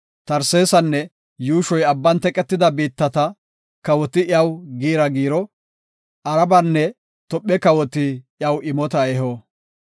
Tarsesanne yuushoy abban teqetida biittata, kawoti iyaw giira giiro; Arabenne Tophe kawoti iyaw imota eho.